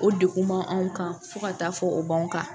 O dekun ma anw kan fo ka taa fɔ o b'anw kan.